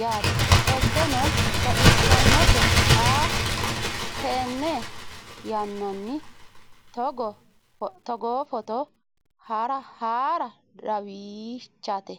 yaate qoltenno baxissannote xa tenne yannanni togoo footo haara danvchate